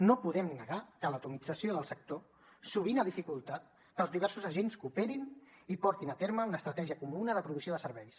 no podem negar que l’atomització del sector sovint ha dificultat que els diversos agents cooperin i portin a terme una estratègia comuna de provisió de serveis